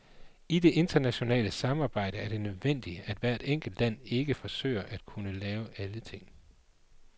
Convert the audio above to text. I det internationale samarbejde er det nødvendigt, at hvert enkelt land ikke forsøger at kunne lave alle ting.